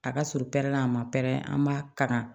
A ka surun pɛrɛnna a ma pɛrɛn an b'a kalan